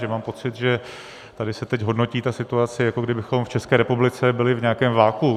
Že mám pocit, že tady se teď hodnotí ta situace, jako kdybychom v České republice byli v nějakém vakuu.